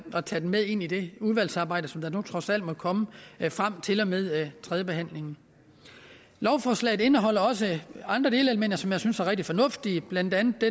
at tage den med ind i det udvalgsarbejde som nu trods alt må komme frem til og med tredjebehandlingen lovforslaget indeholder også andre delelementer som jeg synes er rigtig fornuftige blandt andet